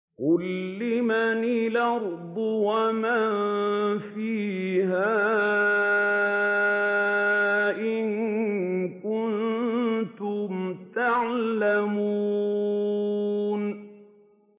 قُل لِّمَنِ الْأَرْضُ وَمَن فِيهَا إِن كُنتُمْ تَعْلَمُونَ